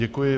Děkuji.